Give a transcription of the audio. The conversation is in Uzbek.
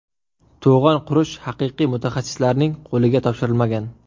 To‘g‘on qurish haqiqiy mutaxassislarning qo‘liga topshirilmagan.